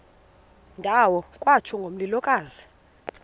ndawo kwatsho ngomlilokazi